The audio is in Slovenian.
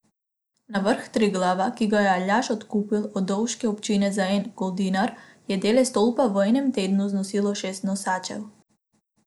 Na vrh Triglava, ki ga je Aljaž odkupil od dovške občine za en goldinar, je dele stolpa v enem tednu znosilo šest nosačev.